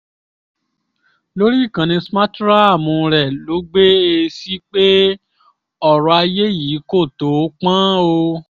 lórí ìkànnì smarthraàmù rẹ ló gbé e sí pé ọ̀rọ̀ ayé yìí kò tóó pọ́n o